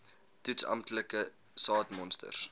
toets amptelike saadmonsters